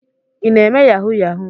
Ị na-eme yahoo yahoo?